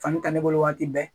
Fani ka ne bolo waati bɛɛ